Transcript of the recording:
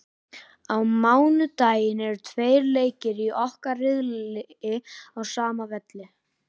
Á mánudaginn eru tveir leikir í okkar riðli á sama velli.